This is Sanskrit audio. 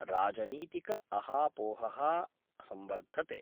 राजनीतिकअहापोह: संवर्धते।